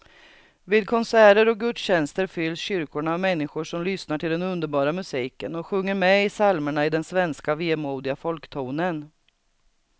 Vid konserter och gudstjänster fylls kyrkorna av människor som lyssnar till den underbara musiken och sjunger med i psalmerna i den svenska vemodiga folktonen.